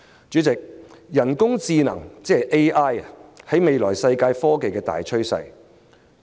主席，人工智能是未來世界科技發展的大趨勢。